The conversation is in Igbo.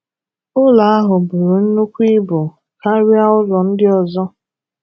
Ụlọ ahụ buru nnukwu ibu karịa ụlọ ndị ọzọ.